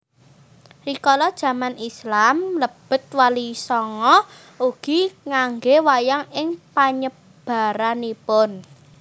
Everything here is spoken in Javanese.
Rikala jaman Islam mlebet Walisanga ugi nganggé wayang ing panyebaranipun